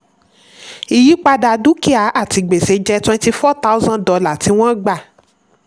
ìyípadà dúkìá àti gbèsè jẹ́ twenty four thousand dollar tí wọ́n gba.